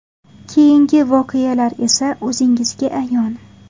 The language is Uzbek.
Keyingi voqealar esa o‘zingizga ayon.